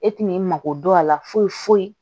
E tɛn'i mako dɔn a la foyi foyi